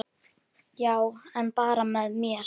Já, en bara með mér.